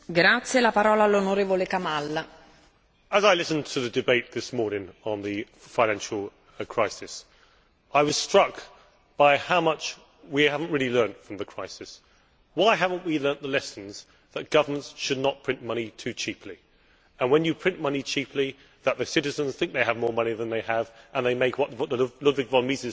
Madam President, as I listened to the debate this morning on the financial crisis, I was struck by how much we have not really learnt from the crisis. Why have we not learnt the lessons that governments should not print money too cheaply, and that when you print money cheaply the citizens think they have more money than they have and they make what Ludwig von Mises called malinvestments'.